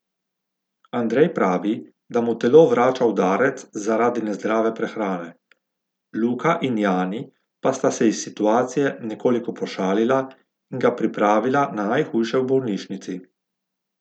Andrej pravi, da mu telo vrača udarec zaradi nezdrave prehrane, Luka in Jani pa sta se iz situacije nekoliko pošalila in ga pripravila na najhujše v bolnišnici.